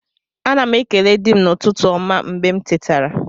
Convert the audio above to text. Ana m ekele di m n'ụtụtụ ọma mgbe m tetara